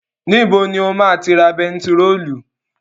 Níbo ni o ma ti ra bentiróòlù?